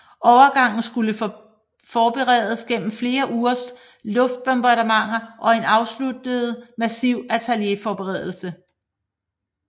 Overgangen skulle forberedes gennem flere ugers luftbombardementer og en afsluttende massiv artilleriforberedelse